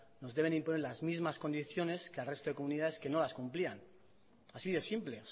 nos deben imponer las mismas condiciones que al resto de comunidades que no las cumplían así de simple